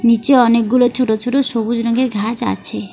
নিচে অনেকগুলো ছোট ছোট সবুজ রঙের ঘাস আছে।